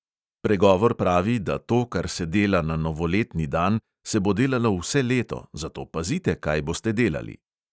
Pregovor pravi, da to, kar se dela na novoletni dan, se bo delalo vse leto, zato pazite, kaj boste delali!